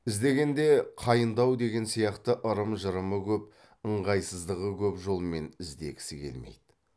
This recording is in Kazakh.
іздегенде қайындау деген сияқты ырым жырымы көп ыңғайсыздығы көп жолмен іздегісі келмейді